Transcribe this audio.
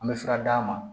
An bɛ fura d'a ma